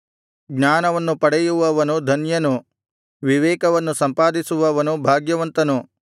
ಜ್ಞಾನವನ್ನು ಪಡೆಯುವವನು ಧನ್ಯನು ವಿವೇಕವನ್ನು ಸಂಪಾದಿಸುವವನು ಭಾಗ್ಯವಂತನು